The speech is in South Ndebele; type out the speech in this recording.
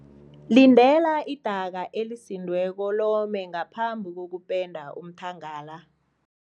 Lindela idaka elisindileko lome ngaphambi kokupenda umthangala.